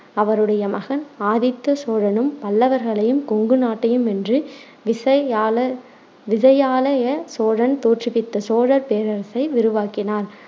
அவருடைய மகன் ஆதித்த சோழனும் பல்லவர்களையும் கொங்கு நாட்டையும் வென்று விசயா~ விஜயாலய சோழன் தோற்றுவித்த சோழர் பேரரசை விரிவாக்கினான்.